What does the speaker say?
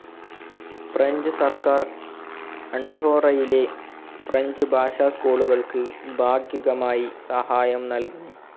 French സർക്കാർ അണ്ഡോറയിലെ French ഭാഷാ സ്‌കൂളുകൾക്ക് ഭാഗികമായി സഹായം നൽകുന്നു.